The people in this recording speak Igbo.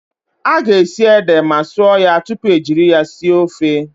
A ga-esi ede ma sụọ ya tupu ejiri ya sie ofe.